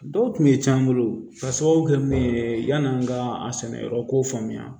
Dɔw tun bɛ can n bolo k'a sababu kɛ min ye yani an ka a sɛnɛyɔrɔ ko faamuya